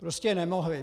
Prostě nemohli.